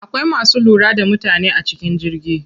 Akwai masu lura da mutane a cikin jirgi.